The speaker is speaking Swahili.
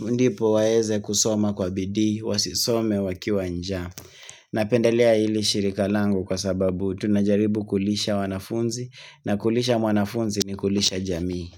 Ndipo waeze kusoma kwa bidii, wasisome wakiwa njaa. Napendelia hili shirikalangu kwa sababu tunajaribu kulisha wanafunzi. Na kulisha mwanafunzi ni kulisha jamii.